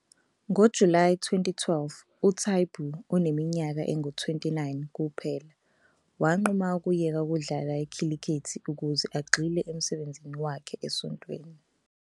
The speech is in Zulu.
NgoJulayi 2012 uTaibu, oneminyaka engu-29 kuphela, wanquma ukuyeka ukudlala ikhilikithi ukuze agxile emsebenzini wakhe esontweni.